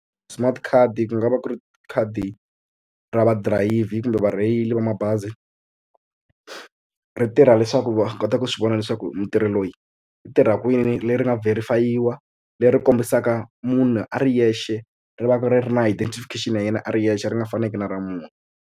Smart card ku nga va ku ri khadi ra vadirayivhi kumbe varheyili va mabazi ri tirha leswaku va kota ku swi vona leswaku mutirhi loyi i tirha kwini leri nga verify-iwa leri kombisaka munhu a ri yexe ri va ku ri ri na identification ya yena a ri yexe ri nga faniki na ra munhu.